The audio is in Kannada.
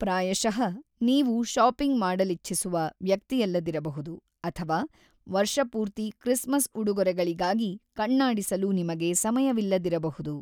ಪ್ರಾಯಶಃ ನೀವು ಶಾಪಿಂಗ್ ಮಾಡಲಿಚ್ಛಿಸುವ ವ್ಯಕ್ತಿಯಲ್ಲದಿರಬಹುದು ಅಥವಾ ವರ್ಷಪೂರ್ತಿ ಕ್ರಿಸ್ಮಸ್ ಉಡುಗೊರೆಗಳಿಗಾಗಿ ಕಣ್ಣಾಡಿಸಲು ನಿಮಗೆ ಸಮಯವಿಲ್ಲದಿರಬಹುದು.